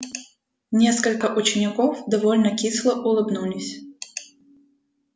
несколько учеников довольно кисло улыбнулись